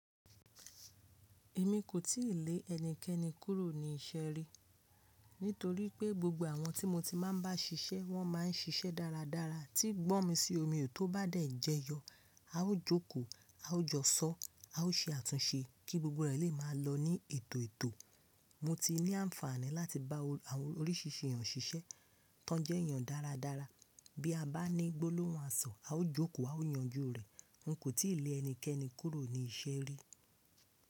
Èmi kò tíì lé ẹnikẹ́ni kúrò ní iṣẹ́ rí. Nítorí pé gbogbo àwọn tí mo ti máa ń bá ṣiṣẹ́ wọ́n máa ń ṣiṣẹ́ dáradára tí gbọ́ mi sí omi ò tó bá dẹ̀ jẹyọ, a ó jókòó, a ó jọ́sọ́, a ó ṣe àtúnṣe kí gbogbo rẹ̀ lè máa lọ ní ètò ètò. Mo ti ní àǹfààní láti bá àwọn oríṣìṣìí èèyàn ṣiṣẹ́ tó jẹ́ èèyàn dáradára. Bí a bá ní gbólóhùn àsọ̀, a ó jókòó a ó yanjú rẹ̀. N kò tíì lé ẹnikẹ́ni kúrò ní iṣẹ́ rí.